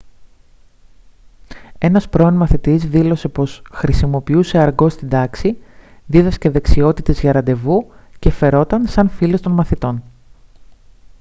ένας πρώην μαθητής δήλωσε πως «χρησιμοποιούσε αργκό στην τάξη δίδασκε δεξιότητες για ραντεβού και φερόταν σαν φίλος των μαθητών»